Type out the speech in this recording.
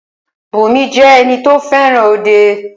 Bùnmi jẹ́ ẹni tí o fẹràn òde.